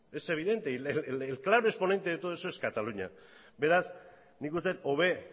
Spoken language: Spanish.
es evidente y el claro exponente de todo eso cataluña beraz nik uste dut hobe